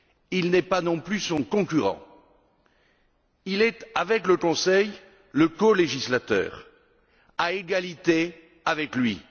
Il n'est pas non plus son concurrent. Il est, avec le Conseil, le colégislateur, à égalité avec lui.